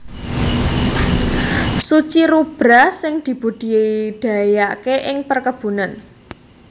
succirubra sing dibudidayaké ing perkebunan